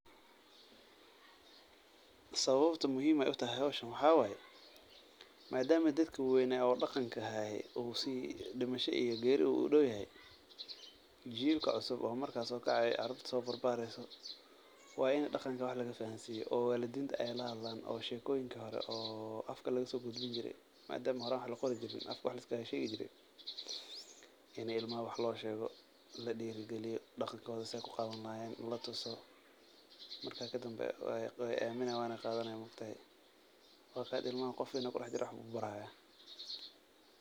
Sawabta muhiim ay u tahay howshan waxaa waye maadamo dadki waweyna oo dhaqanka haye u si dhimasha iyo geeri u dawyahy jiilka cusub oo marka so kacayo e carurta so barbaareyso waa in dhaqanka wx laga fahasiya oo walidinta ay lahadlan oo shekooyinka hore oo afka lagasogudbin jire madamo horan wax laqori jirin afka wax la iskaga sheegi jire in ilmaha wax loo sheego ladhiragaliyo dhaqankoooda si ay ku qadan lahayeen latuso marka kadamba way aaminayaan weyna qaadanayaan ma ogtahay marka hada ilmahan qof wayn aa kudaxjira waxbuu baraya.